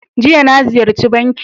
Jiya, na Ziyarchi banki.